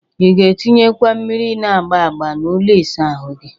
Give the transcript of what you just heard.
Ị ga-etinyekwa mmiri na-agba agba n'ụlọ ịsa ahụ gị?